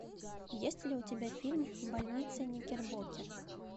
есть ли у тебя фильм больница никербокер